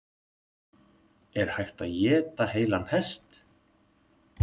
Er hægt að éta heilan hest?